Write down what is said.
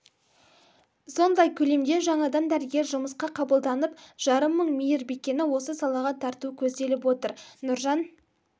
сондай көлемде жаңадан дәрігер жұмысқа қабылданып жарым мың мейірбикені осы салаға тарту көзделіп отыр нұржан